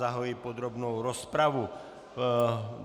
Zahajuji podrobnou rozpravu.